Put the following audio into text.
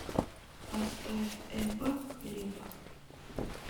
поставь эба хлеба